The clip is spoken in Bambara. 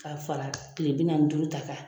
K'a fara kile bi nanni ni duuru ta kan.